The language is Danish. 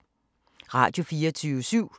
Radio24syv